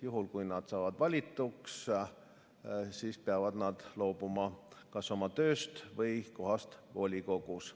Juhul kui nad saavad valituks, peavad nad loobuma kas oma tööst või kohast volikogus.